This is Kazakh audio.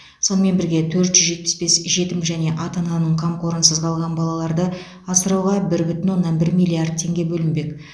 сонымен бірге төрт жүз жетпіс бес жетім және ата ананың қамқорынсыз қалған балаларды асырауға бір бүтін оннан бір миллиард теңге бөлінбек